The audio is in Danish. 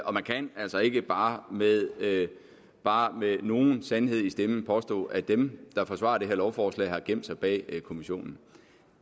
og man kan altså ikke bare med bare med nogen sandhed i stemmen påstå at dem der forsvarer det her lovforslag har gemt sig bag kommissionen